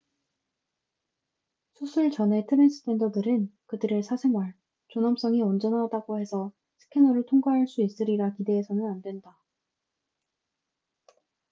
수술 전의 트랜스젠더들은 그들의 사생활 존엄성이 온전하다고 해서 스캐너를 통과할 수 있으리라 기대해서는 안 된다